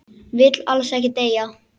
Vill alls ekki deyja.